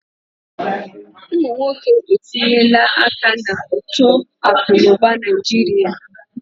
Ụmụ nwoke etinyela aka na uto akụ na ụba Naijiria.